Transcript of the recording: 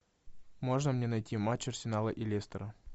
можно мне найти матч арсенала и лестера